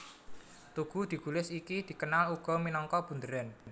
Tugu Digulis iki dikenal uga minangka Bunderan